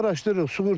İndi araşdırırıq.